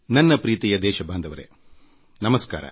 ನನ್ನ ಪ್ರೀತಿಯ ದೇಶ ಬಾಂಧವರೇ ನಮಸ್ಕಾರ